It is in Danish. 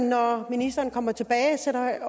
når ministeren kommer tilbage